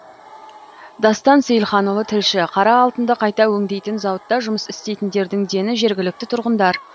дастан сейілханұлы тілші қара алтынды қайта өңдейтін зауытта жұмыс істейтіндердің дені жергілікті тұрғындар